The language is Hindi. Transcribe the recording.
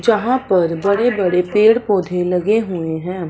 जहां पर बड़े बड़े पेड़ पौधे लगे हुए है।